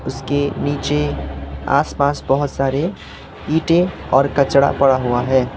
इसके नीचे आस पास बहोत सारे ईंटे और कचरा पड़ा हुआ है।